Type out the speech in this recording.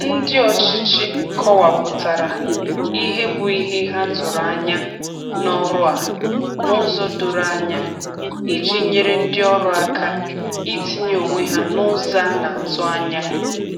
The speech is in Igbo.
Ndi ọchịchị kọwapụtara ihe bụ ihe ha tụrụ anya n'ọrụ a n'ụzọ doro anya iji nyere ndị ọrụ aka itinye onwe ha n’ụzọ a na-atụ anya.